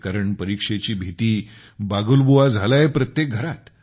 कारण परीक्षेची भीती बागुलबुवा झाला आहे प्रत्येक घरात